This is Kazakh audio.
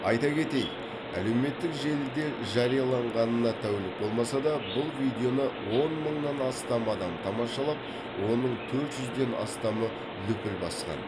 айта кетейік әлеуметтік желіде жарияланғанына тәулік болмаса да бұл видеоны он мыңнан астам адам тамашалап оның төрт жүзден астамы лүпіл басқан